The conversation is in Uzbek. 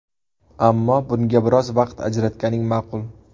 Ammo bunga biroz vaqt ajratganing ma’qul.